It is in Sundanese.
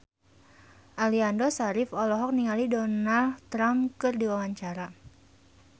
Aliando Syarif olohok ningali Donald Trump keur diwawancara